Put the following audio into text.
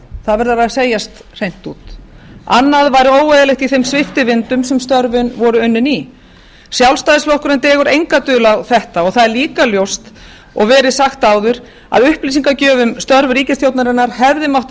það verður að segjast hreint út annað væri óeðlilegt í þeim sviptivindum sem störfin voru unnin í sjálfstæðisflokkurinn dregur enga dul á þetta og það er líka ljóst og verið sagt áður að upplýsingagjöf um störf ríkisstjórnarinnar hefði mátt